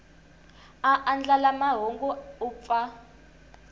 a andlala mahungu u pfa